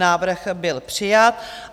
Návrh byl přijat.